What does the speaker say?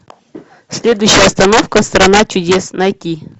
следующая остановка страна чудес найти